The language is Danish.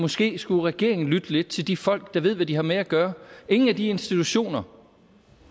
måske skulle regeringen lytte lidt til de folk der ved hvad de her med at gøre ingen af de institutioner